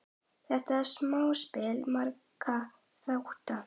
Þetta er samspil margra þátta.